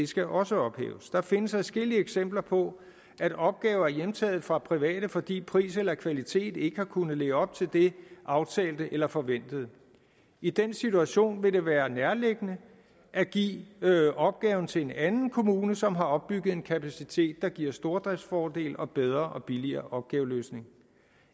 skal også ophæves der findes adskillige eksempler på at opgaver er hjemtaget fra private fordi pris eller kvalitet ikke har kunnet leve op til det aftalte eller forventede i den situation vil det være nærliggende at give opgaven til en anden kommune som har opbygget en kapacitet der giver stordriftsfordel og bedre og billigere opgaveløsning